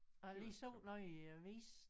Jeg har lige set noget i æ avis